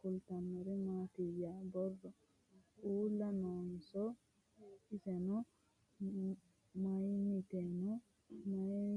kultannori mattiya? borro uulla noonso? isenno mayiittanno? mayiira borreessinoonni?